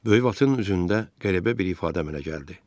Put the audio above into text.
Böyük Vatın üzündə qəribə bir ifadə əmələ gəldi.